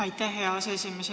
Aitäh, hea aseesimees!